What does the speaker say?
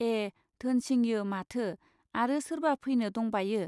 ए धोनसिंयो माथो आरो सोरबा फैनो दंबायो.